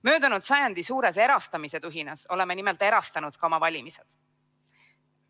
Möödunud sajandi suures erastamistuhinas oleme nimelt erastanud ka oma valimised.